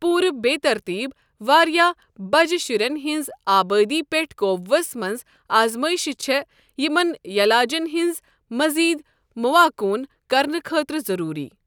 پوٗرٕ بے ترتیب ، وارِیاہ بجہِ شرین ہنزِ آبٲدی پٮ۪ٹھ قوبوُہس منٛز آزمٲیشہِ چھے٘ یمن یلاجن ہٕنٛز مٔزید موٚانكون كرنہٕ خٲطرٕ ضروٗری ۔